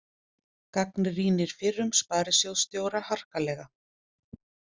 Gagnrýnir fyrrum sparisjóðsstjóra harkalega